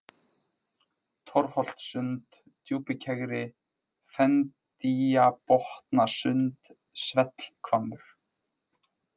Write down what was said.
Torfholtssund, Djúpikegri, Fendýjabotnasund, Svellhvammur